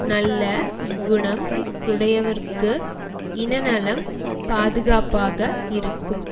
நல்ல குணம் உடையவர்க்கு இன நலம் பாதுகாப்பாக இருக்கும்